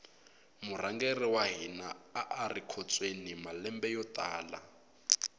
murhangeri wa hina ari ekhotsweni malembe yo tala